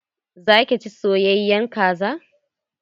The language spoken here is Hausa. Za ki ci soyayen kaza?